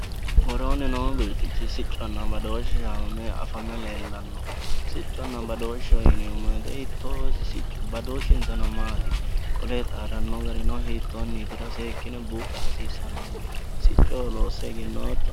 Worooni noo birxichi sicconna badooshe yaa afame leellano, sicconna badooshe yineemmo woyte hiittoho isi, isi siccu badooshinsano maati, qole xaadano gari hiittonitiro seekkine buuxa hasiisanonke, siccoho loosse.